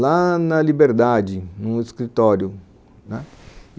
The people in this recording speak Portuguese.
lá na Liberdade, num escritório, né